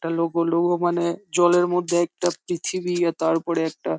একটা logo logo মনে জলের মধ্যে একটা পৃথিবী তার উপরে একটা।